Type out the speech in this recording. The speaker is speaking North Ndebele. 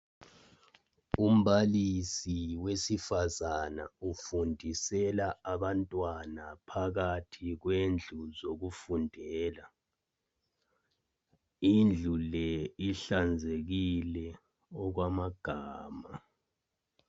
Umbalisi wesifazana ufundisela ufundisela abantwana phakathi kwendlu zokufundela indlu le ihlanzekile okwamagama